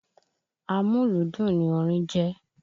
Amúlùúdùn ni orin jẹ́.